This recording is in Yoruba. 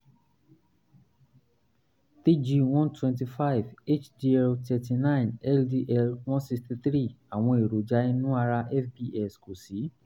tg one twenty five hdl thirty nine ldl one sixty three àwọn èròjà inú ara fbs kò sí